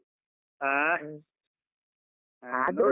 ಅಹ್